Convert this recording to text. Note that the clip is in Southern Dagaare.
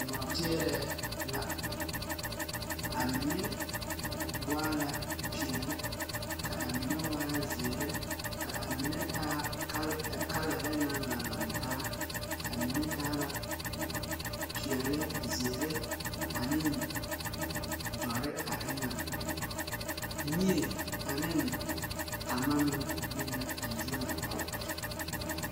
Nɔɔteereɛɛ la a mine waa la peɛɛli ka a mine waa zeere ka a mine taa kalarre na laŋ laŋtaa a mine taa la peɛɛli, zeere aneŋ dɔre a eŋaŋ mie aniŋ tamma meŋ biŋ la zie ŋa.